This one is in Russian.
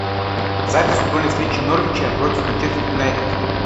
запись футбольной встречи норвича против манчестер юнайтед